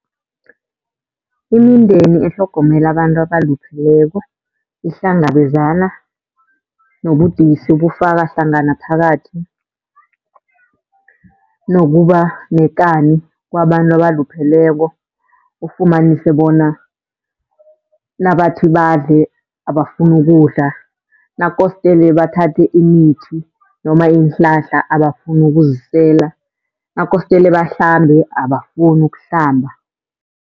Imindeni etlhogomela abantu abalupheleko ihlangabezana nobudisi bufaka hlangana phakathi nokuba nekani kwabantu abalupheleko, ufumanise bona nabathi badle abafuni ukudla. Nakostele bathathe imithi noma iinhlahla abafuni ukuzisela, nakostele bahlambe abafuni ukuhlamba.